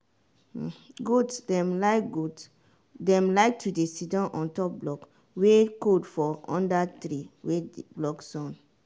goat dem like goat dem like to dey sidon ontop block wey cold for under tree wey dey block sun.